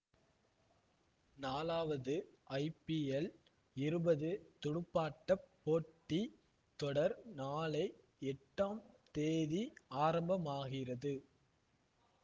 நாலாவது ஐபிஎல் இருபது துடுப்பாட்ட போட்டி தொடர் நாளை எட்டாம் தேதி ஆரம்பமாகிறது